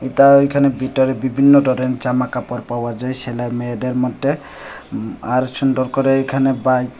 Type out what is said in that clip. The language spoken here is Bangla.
এতা ওইখানে ভিতরে বিবিন্ন ধরন জামাকাপড় পাওয়া যায় সেলে মেয়েদের মদ্যে আর সুন্দর করে এখানে বাইক --